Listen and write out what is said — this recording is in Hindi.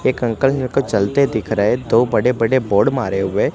एक अंकल मेरे को चलते दिख रहे दो बड़े बड़े बोर्ड मारे हुए--